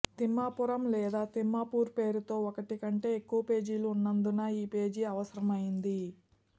తిమ్మాపురం లేదా తిమ్మాపూర్ పేరుతో ఒకటి కంటే ఎక్కువ పేజీలు ఉన్నందున ఈ పేజీ అవసరమైంది